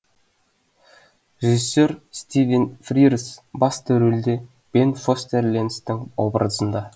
режиссер стивен фрирз басты ролде бен фостер лэнстың образында